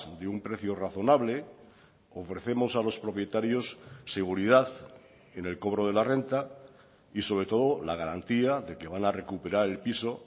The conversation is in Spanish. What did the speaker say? de un precio razonable ofrecemos a los propietarios seguridad en el cobro de la renta y sobre todo la garantía de que van a recuperar el piso